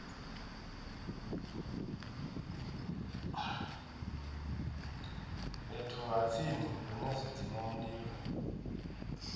fhethu ha tsini hune zwidzimamulilo